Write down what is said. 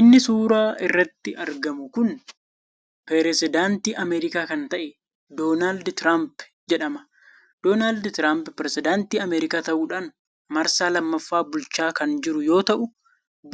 Inni suuraa irratti argamu kun perezedaanti ameerikaa kan ta'e donald tirump jedhama. Donald tirump perezedaantii ameerikaa ta'uudhaan marsaa lammaffa bulchaa kan jiru yoo ta'u